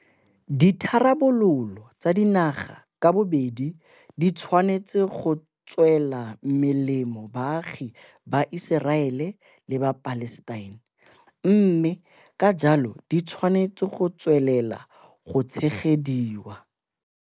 Ditharabololo tsa dinaga ka bobedi di tshwanetse go tswela melemo baagi ba Iseraele le ba Palestina, mme ka jalo di tshwanetse go tswelela go tshegediwa.